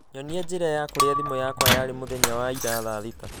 Nyonia njĩra ya kũrĩa thimũ yakwa yarĩ mũthenya wa ira thaa thita